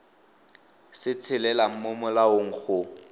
se tshelelang mo molaong go